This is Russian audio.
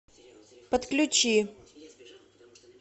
подключи